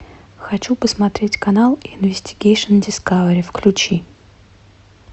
хочу посмотреть канал инвестигейшн дискавери включи